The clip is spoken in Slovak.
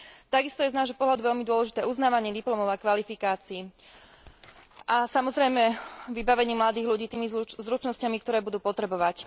Takisto je z nášho pohľadu veľmi dôležité uznávanie diplomov a kvalifikácií a, samozrejme, vybavenie mladých ľudí tými zručnosťami, ktoré budú potrebovať.